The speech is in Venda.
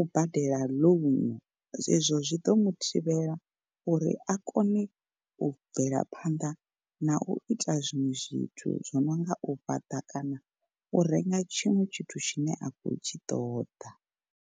u badela ḽounu. Zwezwo zwi ḓo muthivhela uri a kone u bvela phanḓa na u ita zwiṅwe zwithu zwo no nga u fhaṱa kana u renga tshiṅwe tshithu tshine a khou tshi ṱoḓa.